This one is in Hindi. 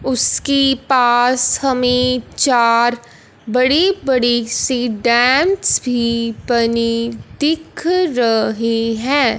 उसकी पास हमें चार बड़ी बड़ीसी डैम्स भी बनी दिख रही हैं।